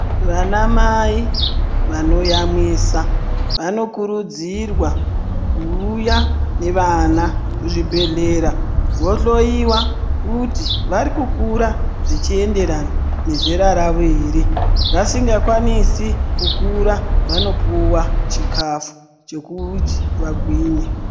Vana mai vanoyamwisa vanokurudzirwa kuuya nevana kuzvibhehlera vohloyiwa kuti vari kukura zvichienderana nezera ravo here, vasingakwanise vanopuwa chikafu chekuti vagwinye.